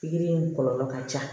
Pikiri in kɔlɔlɔ ka ca